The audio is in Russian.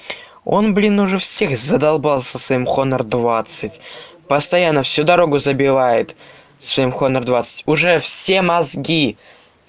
он блин уже всех задолбал со своим хонор двадцать постоянно всю дорогу забивает своим хонор двадцать уже все мозги